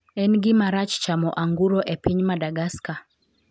en gimarach chamo anguro e piny Madagascar?